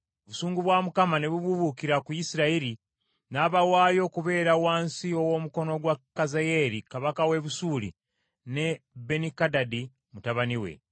Obusungu bwa Mukama ne bubuubuukira ku Isirayiri, n’abawaayo okubeera wansi ow’omukono gwa Kazayeeri kabaka w’e Busuuli ne Benikadadi mutabani we.